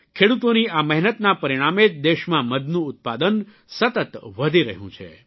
ખેડૂતોની આ મહેનતના પરિણામે જ દેશમાં મધનું ઉત્પાદન સતત વધી રહ્યું છે